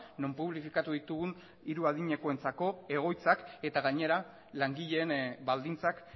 non publifikatu ditugun hiru adinekoentzako egoitzak eta gainera langileen baldintzak